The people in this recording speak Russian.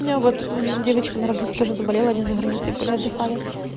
я вот девочка на работе тоже заболела они за границей были отдыхали